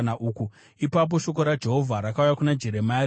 Ipapo shoko raJehovha rakauya kuna Jeremia, richiti,